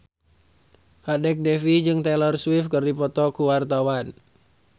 Kadek Devi jeung Taylor Swift keur dipoto ku wartawan